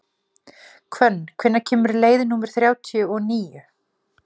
Hvönn, hvenær kemur leið númer þrjátíu og níu?